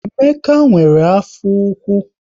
Emeka nwere afọ ụkwụ